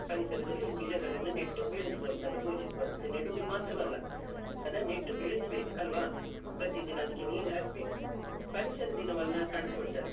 ಪರಿಸರದಲ್ಲಿ ಗಿಡಗಳನ್ನು ನೆಟ್ಟು ಬೆಳೆಸುವಂತದು, ಪೋಷಿಸುವಂತದ್ದು. ನೆಡುದು ಮಾತ್ರವಲ್ಲಾ ಅದನ್ನು ನೆಟ್ಟು ಬೆಳೆಸ್ಬೇಕು ಅಲ್ವಾ? ಅಲ್ವಾ ಪ್ರತಿದಿನ ಅದಕ್ಕೆ ನೀರ್ ಹಾಕ್ಬೇಕು ಪರಿಸರ ದಿನವನ್ನು ಕಂಡುಕೊಂಡರು.